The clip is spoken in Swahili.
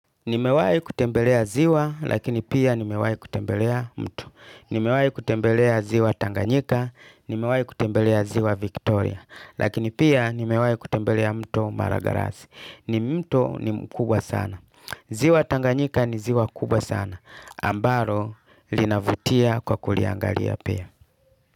Nimewahi kutembelea ziwa lakini pia nimewahi kutembelea mto. Nimewahi kutembelea ziwa Tanganyika nimewahi kutembelea ziwa Viktoria. Lakini pia nimewahi kutembelea mto Maragarasi. Ni mto ni mkubwa sana. Ziwa Tanganyika ni ziwa kubwa sana ambalo linavutia kwa kuliangali pia.